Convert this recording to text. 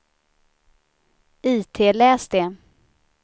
itläs det